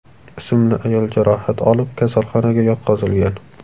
ismli ayol jarohat olib, kasalxonaga yotqizilgan.